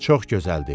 Çox gözəldir.